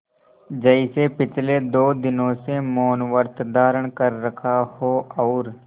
जैसे पिछले दो दिनों से मौनव्रत धारण कर रखा हो और